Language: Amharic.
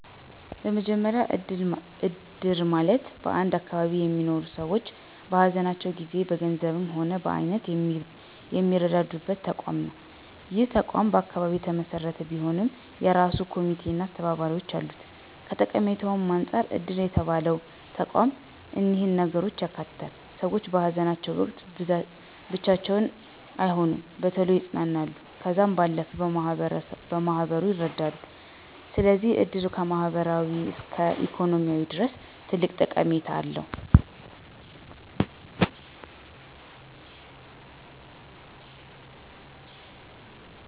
በመጀመሪ እድር ማለት በአንድ አካባቢ የሚኖሩ ሰዎች በሃዘናቸው ጊዜ በገንዘብም ሆነ በአይነት የሚረዳዱበት ተቋም ነው። ይህ ተቋም በአካባቢ የተመሰረተ ቢሆንም የእራሱ ኮሚቴ አና አስተባባሪዎች አሉት። ከጠቀሜታም አንፃር እድር የተባለው ተቋም እኒህን ነገሮች ያካትታል፦ ሰዎች በሃዘናቸው ወቅት ብቻቸውን አይሆኑም፣ በቶሎ ይፅናናሉ ከዛም ባለፈ በማህበሩ ይረዳሉ። ስለዚህ እድር ከማህበራዊ እስከ ኢኮኖሚያዊ ድረስ ትልቅ ጠቀሜታ አለው።